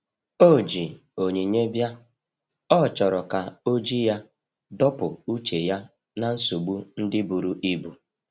O ji onyinye bia,ọ chọrọ ka oji ya dọpụ uche ya na nsogbo ndi buru ibụ.